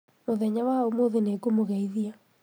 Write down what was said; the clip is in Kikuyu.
mũthenya wa ũmũthĩ nĩngũmũgeithia